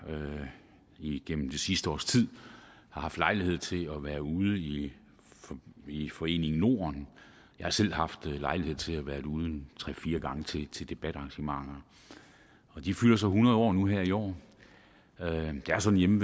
igennem det sidste års tid har haft lejlighed til at være ude i i foreningen norden jeg har selv haft lejlighed til at være derude tre fire gange til til debatarrangementer de fylder så hundrede år nu her i år det er sådan hjemme